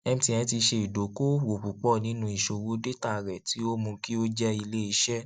mtn ti ṣe idokoowo pupọ ninu iṣowo data rẹ ti o mu ki o jẹ ileiṣẹ